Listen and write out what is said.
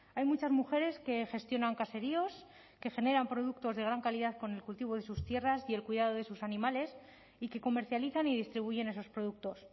hay muchas mujeres que gestionan caseríos que generan productos de gran calidad con el cultivo de sus tierras y el cuidado de sus animales y que comercializan y distribuyen esos productos